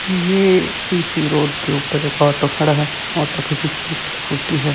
ये C C road के ऊपर एक ऑटो खड़ा है ऑटो के पीछे एक स्कूटी हैं।